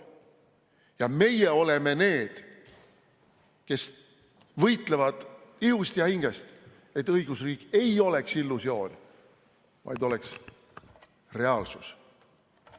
Ja meie oleme need, kes võitlevad ihust ja hingest, et õigusriik ei oleks illusioon, vaid oleks reaalsus.